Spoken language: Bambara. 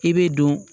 I bɛ don